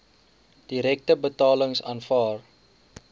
direkte betalings aanvaar